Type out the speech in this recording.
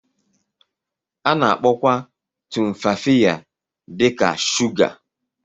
A na-akpọkwa Tumfafiya dị ka shuga.